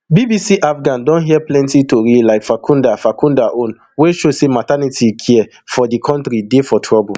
bbc afghan don hear plenti tori like farkhunda farkhunda own wey show say maternity care for di kontri dey for trouble